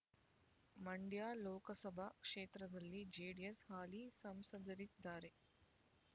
ಮಂಡ್ಯ ಲೋಕಸಭಾ ಕ್ಷೇತ್ರದಲ್ಲಿ ಜೆಡಿಎಸ್‌ನ ಹಾಲಿ ಸಂಸದರಿದ್ದಾರೆ